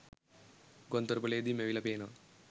ගුවන්තොටු‍පොළේදී මැවිලා පේනවා.